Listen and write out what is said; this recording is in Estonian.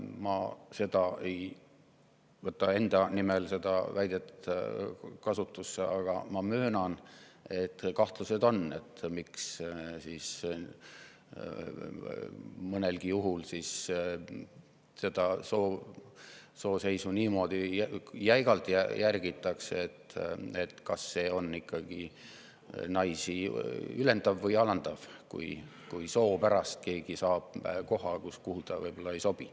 Ma ise niimoodi ei väida, aga ma möönan, et kahtlused on, miks mõnel juhul seda soolist koosseisu niimoodi jäigalt järgitakse: kas see on ikkagi naisi ülendav või alandav, kui soo pärast keegi saab koha, kuhu ta võib-olla ei sobi.